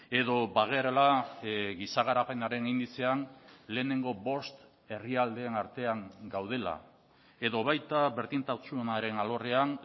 edo bagarela giza garapenaren indizean lehenengo bost herrialdeen artean gaudela edo baita berdintasunaren alorrean